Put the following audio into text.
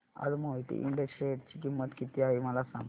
आज मोहिते इंड च्या शेअर ची किंमत किती आहे मला सांगा